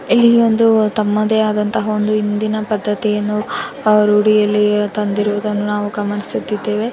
ಇಲ್ಲಿ ಒಂದು ತಮ್ಮದೇ ಆದಂತಹ ಒಂದು ಇಂದಿನ ಪದ್ಧತಿಯನ್ನು ರೂಢಿಯಲ್ಲಿ ತಂದಿರುವುದನ್ನು ನಾವು ಗಮನಿಸುತ್ತಿದ್ದೇವೆ.